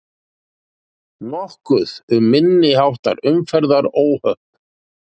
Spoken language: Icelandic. Nokkuð um minniháttar umferðaróhöpp